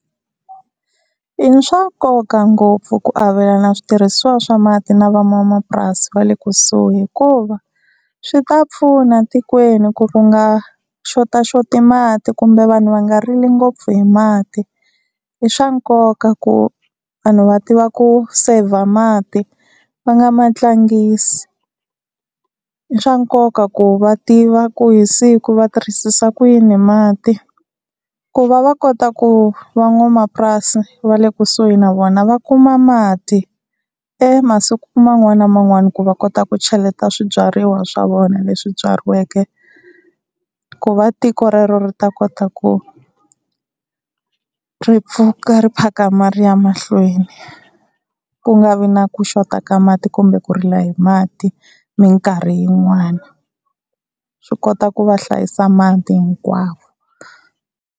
I swa nkoka ngopfu ku avelana switirhisiwa swa mati na van'wamapurasi va le kusuhi, hikuva swi ta pfuna tikweni ku ku nga xotaxoti mati kumbe vanhu va nga rili ngopfu hi mati i swa nkoka ku vanhu va tiva ku saver mati va nga ma tlangisi. I swa nkoka ku va tiva ku hi siku va tirhisisa ku yini mati, ku va va kota ku van'wamapurasi va le kusuhi na vona va kuma mati emasiku man'wani na man'wani ku va kota ku cheleta swibyariwa swa vona leswi byariweke ku va tiko rero ri ta kota ku ri pfuka ri phakama ri ya mahlweni, ku nga vi na ku xota ka mati kumbe ku rila hi mati minkarhi yin'wani. Ri kota ku va hlayisa mati hinkwavo.